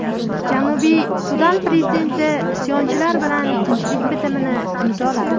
Janubiy Sudan prezidenti isyonchilar bilan tinchlik bitimini imzoladi.